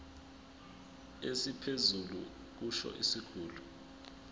esiphezulu kusho isikhulu